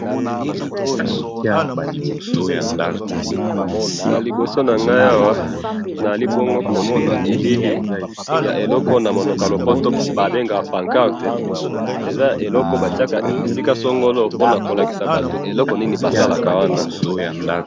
Na liboso na ngai awa naali bongo komona elili ya eloko Oyo na monoko ya lopoto babengaka pancarte. Eza eloko oyo batiaka esika songolo, pona kolakisaka bato eloko Nini basalaka wana